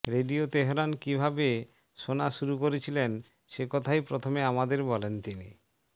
radio Tehran কিভাবে শোনা শুরু করেছিলেন সে কথাই প্রথমে আমাদের বলেন তিনি